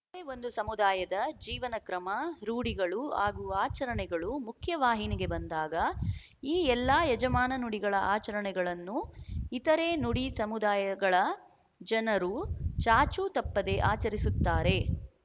ಒಂದು ಸಮುದಾಯದ ಜೀವನ ಕ್ರಮ ರೂಢಿಗಳು ಹಾಗೂ ಆಚರಣೆಗಳು ಮುಖ್ಯವಾಹಿನಿಗೆ ಬಂದಾಗ ಈ ಎಲ್ಲ ಯಜಮಾನ ನುಡಿಗಳ ಆಚರಣೆಗಳನ್ನು ಇತರೆ ನುಡಿ ಸಮುದಾಯಗಳ ಜನರು ಚಾಚು ತಪ್ಪದೆ ಆಚರಿಸುತ್ತಾರೆ